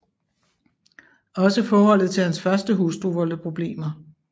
Også forholdet til hans første hustru voldte problemer